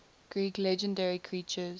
greek legendary creatures